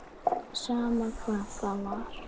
Sama hvað það var.